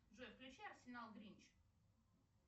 джой включи арсенал гринч